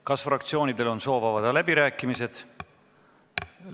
Kas fraktsioonidel on soovi avada läbirääkimisi?